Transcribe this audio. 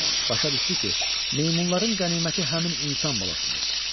Başa düşdü ki, meymunların qəniməti həmin insan balasıdır.